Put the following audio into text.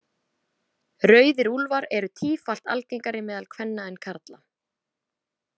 Rauðir úlfar eru tífalt algengari meðal kvenna en karla.